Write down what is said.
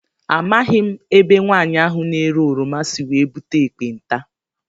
Amaghị m ebe nwaanyị ahụ na -ere oroma sị wee búte ekpenta.